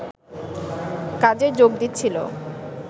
কাজে যোগ দিচ্ছিলো